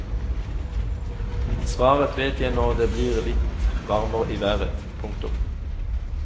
Svaret vet jeg når det blir litt varmere i været. punktum